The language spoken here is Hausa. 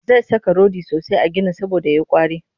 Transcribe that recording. Zai saka rodi sosai a ginin saboda ya yi ƙwari